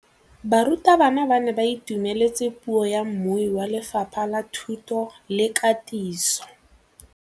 Barutabana ba ne ba itumeletse puô ya mmui wa Lefapha la Thuto le Katiso.